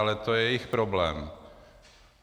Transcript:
Ale to je jejich problém.